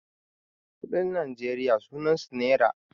kuɗin najeriya sunansu naira